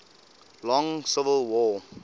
long civil war